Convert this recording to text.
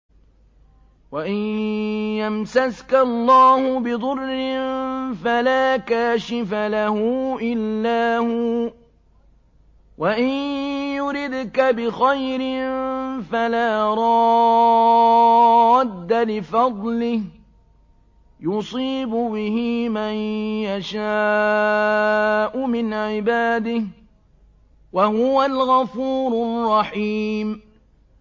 وَإِن يَمْسَسْكَ اللَّهُ بِضُرٍّ فَلَا كَاشِفَ لَهُ إِلَّا هُوَ ۖ وَإِن يُرِدْكَ بِخَيْرٍ فَلَا رَادَّ لِفَضْلِهِ ۚ يُصِيبُ بِهِ مَن يَشَاءُ مِنْ عِبَادِهِ ۚ وَهُوَ الْغَفُورُ الرَّحِيمُ